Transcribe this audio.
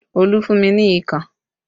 Olu fún mi ní ikàn